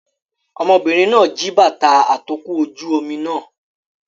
Ọmọbìnrin náà jí bàtà atukọ̀ ojú omi náà